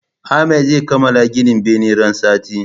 Ahmad zai kamala gina benen ran sati